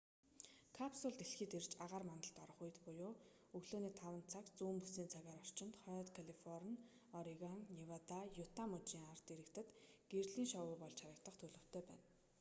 капсул дэлхийд ирж агаар мандалд орох үед буюу өглөөний 5 цаг зүүн бүсийн цагаар орчимд хойд калифорни орегон невада юта мужийн ард иргэдэд гэрлийн шоу болж харагдах төлөвтэй байна